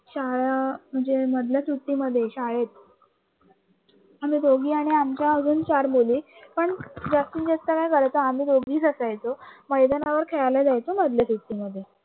शाळा म्हणजे मधल्या सुट्टीमध्ये शाळेत आम्ही दोघी आणि आमच्या चार जनी पण जास्तीत जास्त काय करायचं आम्ही दोघीच असायचो मैदानावर खेळायला जायचं म्हणल्या सुट्टीमध्ये